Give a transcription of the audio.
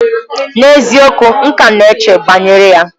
N'eziokwu! M ka na-eche banyere ya.